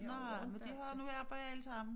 Nej men de har nu arbejde alle sammen